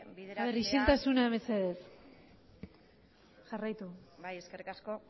bideratzea ere ekintzaileentzat isiltasuna mesedez jarraitu bai eskerrik asko